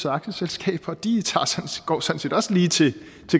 aktieselskab og de går også også lige til